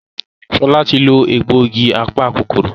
Shola tí lọ egbògi apa-kòkòrò.